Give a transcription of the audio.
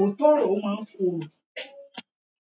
Òótọ́ ọ̀rọ̀ ó máa ń korò,